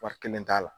Wari kelen t'a la